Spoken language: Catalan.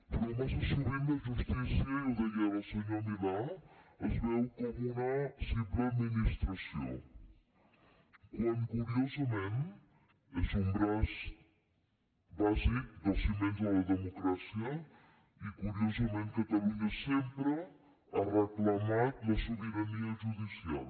però massa sovint la justícia i ho deia ara el senyor milà es veu com una simple administració quan curiosament és un braç bàsic dels ciments de la democràcia i curiosament catalunya sempre ha reclamat la sobirania judicial